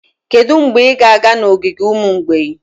Kedu mgbe ị ga-aga n'ogige ụmụ mgbei?